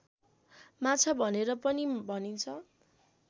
माछा भनेर पनि भनिन्छ